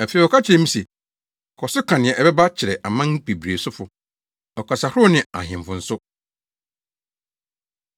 Afei wɔka kyerɛɛ me se, “Kɔ so ka nea ɛbɛba kyerɛ aman bebree sofo, ɔkasahorow ne ahemfo nso.”